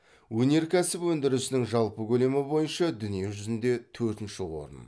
өнеркәсіп өндірісінің жалпы көлемі бойынша дүние жүзінде төртінші орын